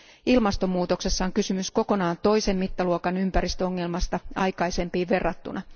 Ilmastomuutoksessa on kysymys kokonaan toisen mittaluokan ympäristöongelmasta aikaisempiin verrattuna.